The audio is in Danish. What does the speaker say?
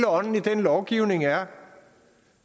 ånden i den lovgivning er